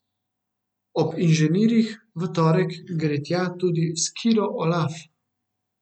Ob inženirjih V torek gre tja tudi skiro Olaf.